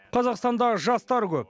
қазақстанда жастар көп